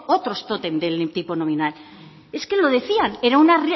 otros tótem del tipo nominal es que lo decían era una